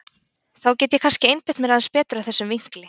Þá get ég kannski einbeitt mér aðeins betur að þessum vinkli.